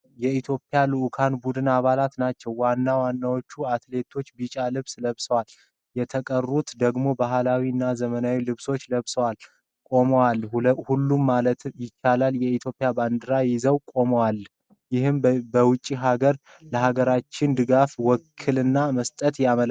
የኢትዮጵያ ልዑካን ቡድን አባላትን ናቸው። ዋና ዋናዎቹ አትሌቶች ቢጫ ልብስ ለብሰው፣ የተቀሩት ደግሞ በባህላዊ እና ዘመናዊ ልብሶች ለብሰው ቁማዋል። ሁሉም ማለት ይቻላል የኢትዮጵያን ባንዲራ ይዘው ቆመዋል፣ ይህም በውጪ ሀገር ለሀገራቸው ድጋፍና ውክልና መስጠታቸውን ያመለክታል።